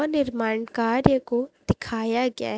व निर्मान कार्य को दिखाया गया।